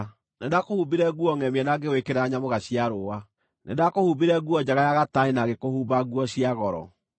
Nĩndakũhumbire nguo ngʼemie na ngĩgwĩkĩra nyamũga cia rũũa. Nĩndakũhumbire nguo njega ya gatani na ngĩkũhumba nguo cia goro.